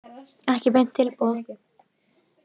Ekki beint tilboð.